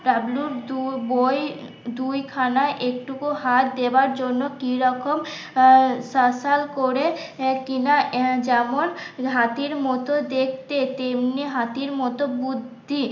ডাব্লুর দু বই দুইখানা একটুকু হাত দেওয়ার জন্য কি রকম করে কিনা যেমন হাতির মতো দেখতে তেমনি হাতির মতো বুদ্ধি